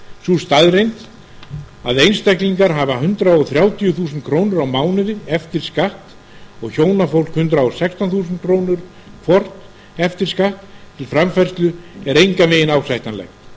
sú staðreynd að einstaklingar hafa hundrað þrjátíu þúsund krónur á mánuði eftir skatt og hjónafólk hundrað og sextán þúsund krónur hvort eftir skatt til framfærslu er engan veginn ásættanlegt